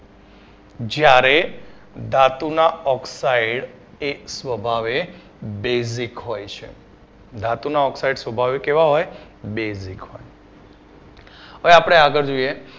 જ્યારે ધાતુના oxide એ સ્વભાવે basic હોય છે ધાતુના oxide સ્વભાવે કેવા હોય basic હોય હવે આપડે આગળ જોઈએ